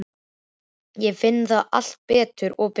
Ég finn það alltaf betur og betur.